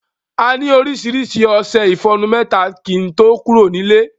A ni oríṣiríṣi ọṣẹ ìfọnu mẹ́ta kí ń tó kúrò nílé.